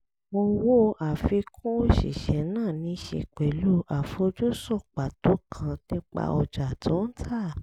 owó àfikún òṣìṣẹ́ náà ní í ṣe pẹ̀lú àfojúsùn pàtó kan nípa ọjà tó ń tà